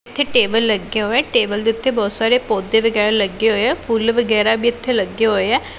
ਇਹ ਟੇਬਲ ਲੱਗੇ ਹੋਏ ਐ ਟੇਬਲ ਦੇ ਉੱਤੇ ਬਹੁਤ ਸਾਰੇ ਪੌਦੇ ਵਗੈਰਾ ਲੱਗੇ ਹੋਏ ਹੈ ਫੁੱਲ ਵਗੈਰਾ ਵੀ ਇਥੇ ਲੱਗੇ ਹੋਏ ਐ।